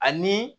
Ani